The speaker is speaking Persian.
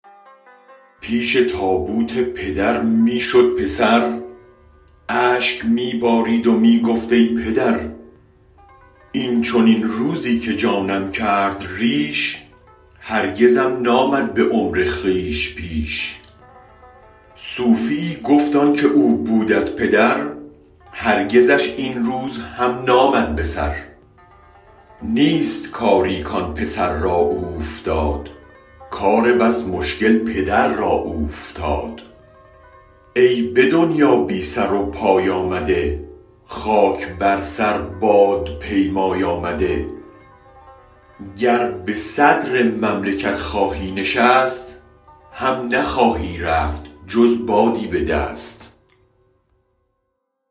پیش تابوت پدر می شد پسر اشک می بارید و می گفت ای پدر این چنین روزی که جانم کرد ریش هرگزم نامد به عمر خویش پیش صوفیی گفت آنک او بودت پدر هرگزش این روز هم نامد به سر نیست کاری کان پسر را اوفتاد کار بس مشکل پدر را اوفتاد ای به دنیا بی سر و پای آمده خاک بر سر باد پیمای آمده گر به صدر مملکت خواهی نشست هم نخواهی رفت جز بادی بدست